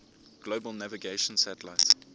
global navigation satellite